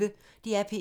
DR P1